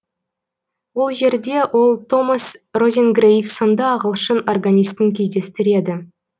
ол жерде ол томас розенгрейв сынды ағылшын органистін кездестіреді